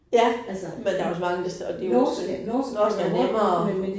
Ja, men der også mange, der og det jo også. Norsk er nemmere